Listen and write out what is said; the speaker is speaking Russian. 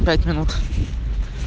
пять минут